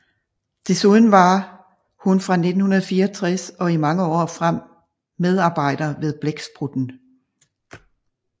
Desuden var hun fra 1964 og i mange år frem medarbejder ved Blæksprutten